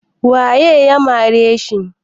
Waye ya mare shi?